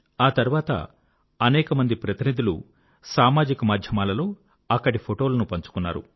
ఆ తర్వాత అనేక మంది ప్రతినిధులు సామాజిక మాధ్యమాలలో అక్కడి ఫోటోలను పంచుకున్నారు